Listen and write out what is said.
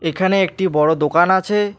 এখানে একটি বড় দোকান আছে।